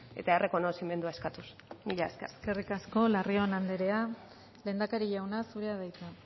eta errekonozimendua eskatuz mila esker eskerrik asko larrion andrea lehendakari jauna zurea da hitza